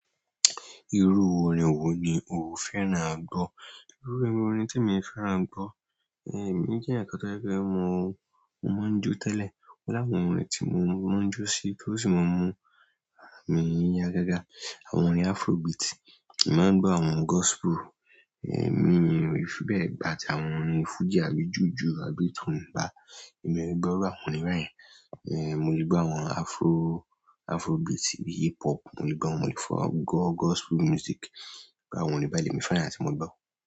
Irú orin wo ni ó fẹ́ràn àgbọ́? Irú irun orin tí èmi fẹ́ràn gbọ́, èmi jẹ́ èèyàn kan tó jẹ́ pé mo, mo máa ń jó tẹ́lẹ̀. O lawon orin tí mo máa ń jó sì tí o sì máa ń mú ara mi ya gágá. Àwọn orin Afrobeat, èmi máa ń gbọ́ àwọn gospel, mi ò fi bẹ́ẹ̀ gbà tí àwọn orin Fuji àbí Jùju àbí Tungba, èmi ò gbọ́ irú àwọn orin báyẹn. Mo lè gbọ́ àwọn Afrobeat, hiphop mo lè gbọ́, mo lè gbọ gospel music. Àwọn orin báyìí ni mo fẹ́ràn àti mo gbọ́.